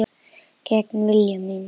Gegn vilja mínum.